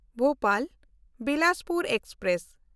ᱵᱷᱳᱯᱟᱞ–ᱵᱤᱞᱟᱥᱯᱩᱨ express